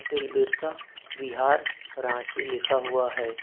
बिरसा विहार रांची लिखा हुआ है।